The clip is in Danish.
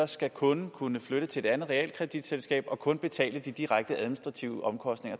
skal kunden kunne flytte til et andet realkreditselskab og kun betale de direkte administrative omkostninger